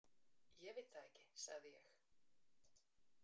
Ég veit það ekki, sagði ég.